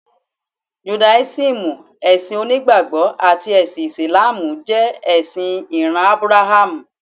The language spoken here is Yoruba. Judáísímù, ẹ̀sìn onígbàgbọ́ àti ẹ̀sìn Ìsìlámù jẹ ẹ̀sìn ìran Ábúráhámù.